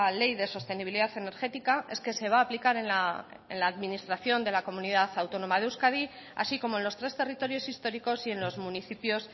ley de sostenibilidad energética es que se va a aplicar en la administración de la comunidad autónoma de euskadi así como en los tres territorios históricos y en los municipios